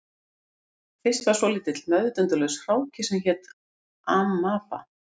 Fyrst var svolítill meðvitundarlaus hráki sem hét amaba